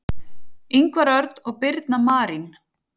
Ingvar Örn og Birna Marín.